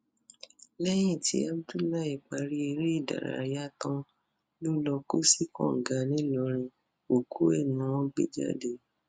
lẹyìn tí abdullahi parí eré ìdárayá tán lọ lọọ kó sí kànga ńìlọrin òkú ẹ ni wọn gbé jáde